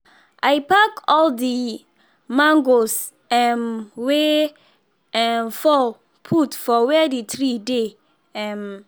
i pack all the mangoes um wey um fall put for where the tree dey um